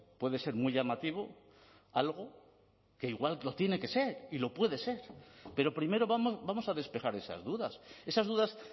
puede ser muy llamativo algo que igual lo tiene que ser y lo puede ser pero primero vamos a despejar esas dudas esas dudas